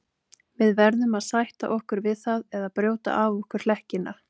Við verðum að sætta okkur við það eða brjóta af okkur hlekkina.